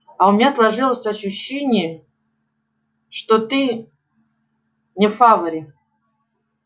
а у меня сложилось ощущение что ты не в фаворе